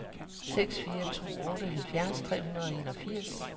seks fire to otte halvfjerds tre hundrede og enogfirs